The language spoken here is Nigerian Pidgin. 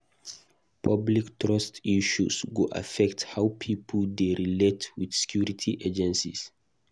Public trust issues go affect how pipo dey relate with security agencies.